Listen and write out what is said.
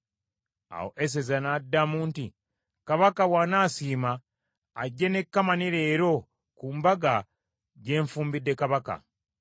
Awo Eseza n’addamu nti, “Kabaka bw’anaasiima, ajje ne Kamani leero ku mbaga gye nfumbidde Kabaka.”